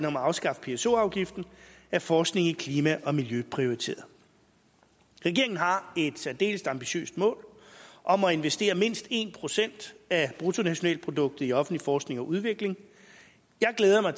om at afskaffe pso afgiften er forskning i klima og miljø prioriteret regeringen har et særdeles ambitiøst mål om at investere mindst en procent af bruttonationalproduktet i offentlig forskning og udvikling jeg glæder mig